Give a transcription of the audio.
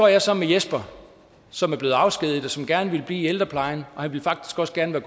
jeg så med jesper som var blevet afskediget og som gerne ville i ældreplejen og han ville faktisk også gerne